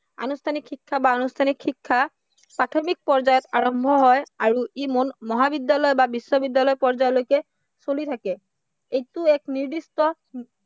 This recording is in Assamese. আনুষ্ঠানিক শিক্ষা বা অনুষ্ঠানিক শিক্ষা প্ৰাথমিক পৰ্যায়ত আৰম্ভ হয় আৰু ই মহাবিদ্য়ালয় বা বিশ্ববিদ্য়ালয় পৰ্যায়ৰলৈকে চলি থাকে। এইটো এক নিৰ্দিষ্ট